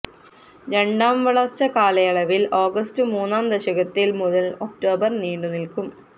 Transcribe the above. രണ്ടാം വളർച്ച കാലയളവിൽ ഓഗസ്റ്റ് മൂന്നാം ദശകത്തിൽ മുതൽ ഒക്ടോബർ നീണ്ടുനിൽക്കും